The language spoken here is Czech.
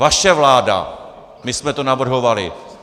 Vaše vláda, když jsme to navrhovali!